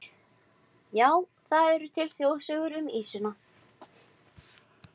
Já, það eru til þjóðsögur um ýsuna.